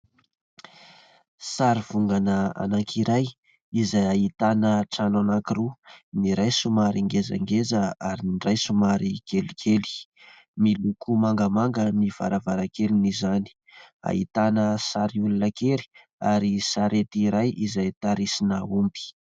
Sary vongana anankiray izay ahitana trano anankiroa : ny iray somary ngezangeza ary ny iray somary kelikely, miloko mangamanga ny varavarankelin'zany, ahitana sary olona kely ary sarety iray izay tarisina omby